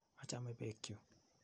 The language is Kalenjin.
Achame peek chu.